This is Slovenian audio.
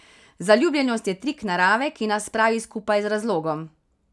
Zaljubljenost je trik narave, ki nas spravi skupaj z razlogom.